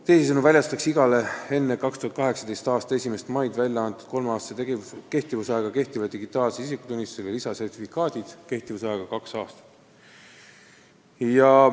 Teisisõnu väljastatakse igale enne 2018. aasta 1. maid väljaantud kolmeaastase kehtivusajaga ja kehtivale digitaalsele isikutunnistusele lisasertifikaadid kehtivusajaga kaks aastat.